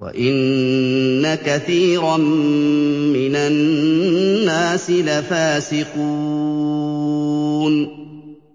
وَإِنَّ كَثِيرًا مِّنَ النَّاسِ لَفَاسِقُونَ